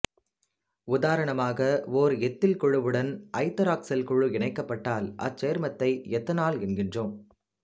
உதாரணமாக ஓர் எத்தில் குழுவுடன் ஐதராக்சில் குழு இனைக்கப்பட்டால் அச்சேர்மத்தை எத்தனால் என்கிறோம்